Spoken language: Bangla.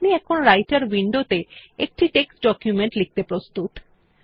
আপনি এখন রাইটের উইন্ডোতে একটি টেক্সট ডকুমেন্ট লিখতে প্রস্তুত